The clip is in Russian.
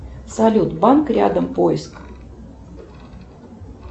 салют банк рядом поиск